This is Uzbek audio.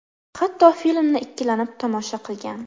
Hatto filmni ikkilanib tomosha qilgan.